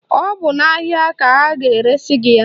Ọ bụ n'ahịa ka a ga-eresi gị ya.